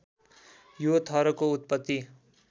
यो थरको उत्पत्ति